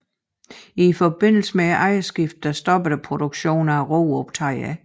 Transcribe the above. I forbindelse med ejerskiftet stoppede produktionen af roeoptagere